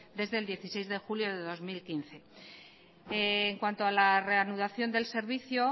desde el dieciséis de julio de dos mil quince en cuanto a la reanudación del servicio